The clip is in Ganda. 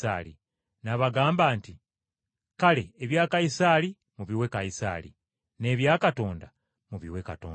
N’abagamba nti, “Kale ebya Kayisaali mubiwenga Kayisaali, n’ebya Katonda mubiwenga Katonda.”